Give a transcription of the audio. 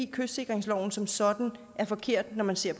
kystsikringsloven som sådan er forkert når man ser